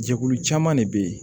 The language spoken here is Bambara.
Jɛkulu caman de bɛ yen